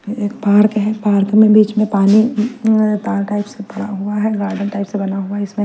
एक पार्क है पार्क में बीच में पानी ताल टाइप से पड़ा हुआ है गार्डन टाइप से बना हुआ है इसमें--